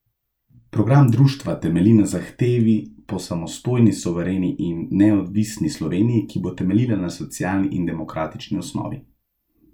Program društva temelji na zahtevi po samostojni, suvereni in neodvisni Sloveniji, ki bo temeljila na socialni in demokratični osnovi.